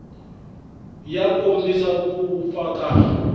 ya kombisa ku vupfa ka